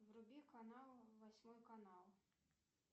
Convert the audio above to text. вруби канал восьмой канал